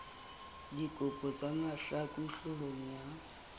dikgopo tsa mahlaku hloohong ya